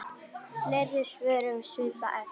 Fleiri svör um svipað efni